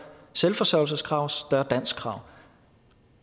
selvforsørgelseskrav større danskkrav